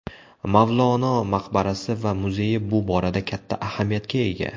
Mavlono maqbarasi va muzeyi bu borada katta ahamiyatga ega.